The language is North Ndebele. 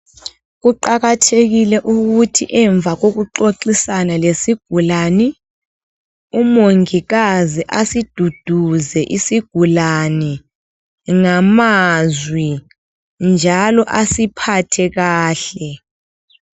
Kuqakathekile ukuthi emva kokuxoxisana lesigulane, umongikazi asiduduze isigulane ngamazwi njalo asiphathe kahle.